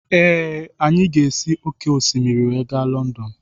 Ee, anyị ga-esi òkè osimiri wee gaa Lọndọn.